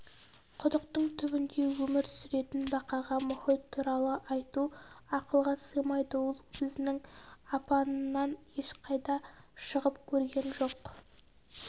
құдықтың түбінде өмір сүретін бақаға мұхит туралы айту ақылға сыймайды ол өзінің апанынан ешқайда шығып көрген жоқ